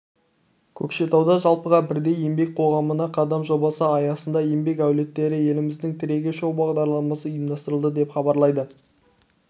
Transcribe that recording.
көкшетауда жалпыға бірдей еңбек қоғамына қадам жобасы аясында еңбек әулеттері еліміздің тірегі шоу-бағдарламасы ұйымдастырылды деп хабарлайды